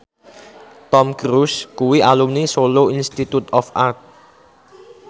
Tom Cruise kuwi alumni Solo Institute of Art